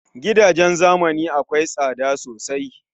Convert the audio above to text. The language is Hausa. Gidajen zamani akwai tsada sosai